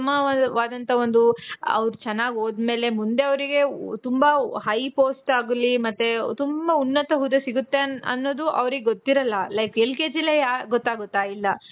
ಉತ್ತಮವಾದಂತ ಒಂದು ಅವರು ಚೆನಾಗ್ ಹೋದ ಮೇಲೆ ಮುಂದೆ ಅವರಿಗೆ ತುಂಬಾ high post ಆಗ್ಲಿ ಮತ್ತೆ ತುಂಬ ಉನ್ನತ ಹುದ್ದೆ ಸಿಗುತ್ತೆ ಅನ್ನೋದು ಅವರಿಗೆ ಗೊತ್ತಿರಲ್ಲ. like L K G ಲೆ ಗೊತ್ತಾಗುತ್ತಾ ಇಲ್ಲ.